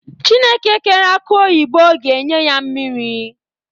Chukwu kere akụ oyibo ga-enye ya mmiri.